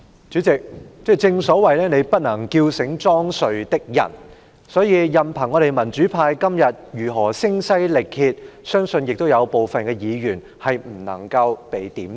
主席，正所謂"你不能叫醒裝睡的人"，所以任憑我們民主派今天如何聲嘶力竭，相信亦都有部分議員不能夠被"點醒"。